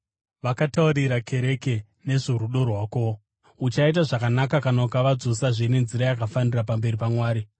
Vakataurira kereke nezvorudo rwako. Uchaita zvakanaka kana ukavadzosazve nenzira yakafanira pamberi paMwari.